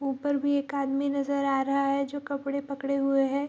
ऊपर भी एक आदमी नजर आ रहा है जो कपड़े पकड़े हुए है ।